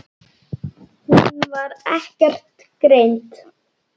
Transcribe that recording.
Hún var ekkert greind.